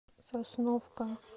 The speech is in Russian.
сосновка